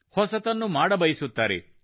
ಹೊಸತನ್ನು ಮಾಡಬಯಸುತ್ತಾರೆ